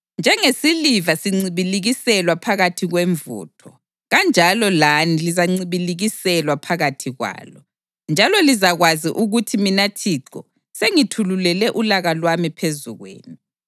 Njengesiliva sincibilikiselwa phakathi kwemvutho, kanjalo lani lizancibilikiselwa phakathi kwalo, njalo lizakwazi ukuthi mina Thixo sengithululele ulaka lwami phezu kwenu.’ ”